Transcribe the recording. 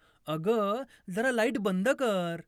अगं जरा लाईट बंद कर